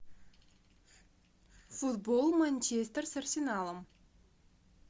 футбол манчестер с арсеналом